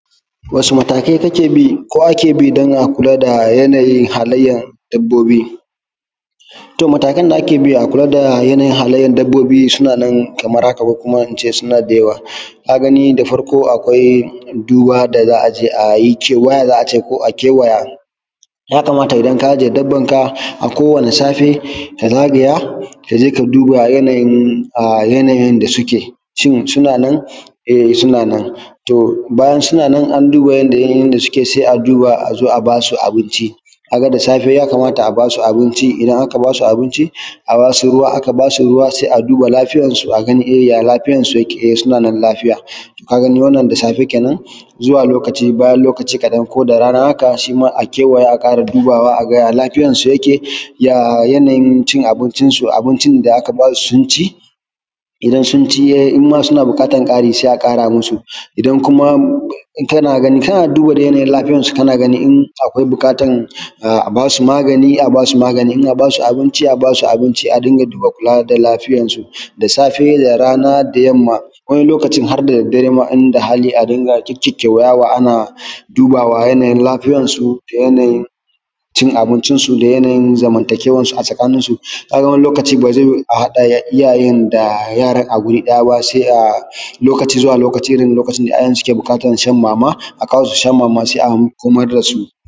Wasu matakai kake bi ko ake bi don a kula da yanayin halayan dabbobi? To, matakan da ake bi a kula da yanayin halayyan dabbobi suna nan kamar haka ko in ce zuna da yawa ka gani na frako, akwai duba da za a je a yi kewaya za a ce ko a kewaya, yakamata idan ka ajiye dabban ka kowane safe ka zagaya ka je ka duba yanayin halayyan su yanayin da suke shin suna nan suna nan. To bayan suna nan an duba yanda suke se a duba a zo a ba su abinci ka ga da safe ya kamata a ba su abinci idan aka ba su abinci, a ba su ruwa aka ba su ruwa se a duba lafiyansu a gani ya lafiyan su suke. E, suna nan lafiya ka gani wannan da safe kenan zuwa lokaci bayan lokaci kaɗan ko da rana haka shi ma a kewaya a ƙara dubawa, a ga ya lafiyan su yake ya yanayin cin abincin su yake. Abincin da aka ba su sun ci, idan sun ci, e in ma suna buƙatan ƙari se a ƙara musu, idan kuma kana ganin kana dai duba yanayin lafiyan su kana gani in akwai buƙatan a ba su magani se a ba su magami, in a ba su abinci se a ba su abinci a dinga kula da lafiyan su da safe da rana da yamma. Wani lokacin ma har da daddare ma in dinga kekkewayawa ana dubawa yanayin lafiyan su da yanayin cin abincinsu da yanayin zamantakewansu, a tsakaninsu ka ga wani lokaci ba ze yiwu a haɗa iyayen da yaran a wurin ɗaya ba, se a lokaci zuwa lokaci irin lokacin da ‘ya’yan suke buƙatan shan mama a kawo su shan mama se a komar da su.